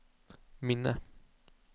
minne